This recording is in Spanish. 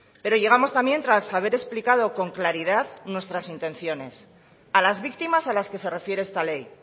pero llegamos también tras haber explicado con claridad nuestras intenciones a las víctimas a las que se refiere esta ley